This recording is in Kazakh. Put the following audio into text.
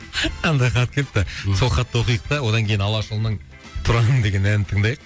мынандай хат келіпті сол хатты оқиық та одан кейін алашұлының тұран деген әнін тыңдайық